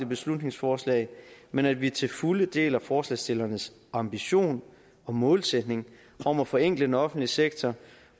beslutningsforslag men at vi til fulde deler forslagsstillernes ambition og målsætning om at forenkle den offentlige sektor